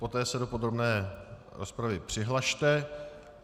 Poté se do podrobné rozpravy přihlaste.